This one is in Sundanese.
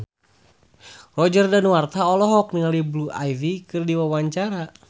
Roger Danuarta olohok ningali Blue Ivy keur diwawancara